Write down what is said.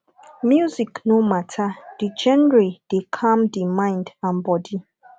music no matter di genre dey calm di mind and body